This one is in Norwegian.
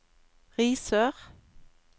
Risør